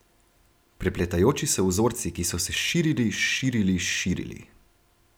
Prepletajoči se vzorci, ki so se širili, širili, širili.